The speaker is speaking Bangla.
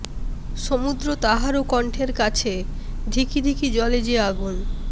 সমুদ্র তাহারও কন্ঠের কাছে ধিকি ধিকি জ্বলে যে আগুন